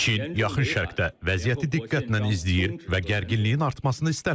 Çin Yaxın Şərqdə vəziyyəti diqqətlə izləyir və gərginliyin artmasını istəmir.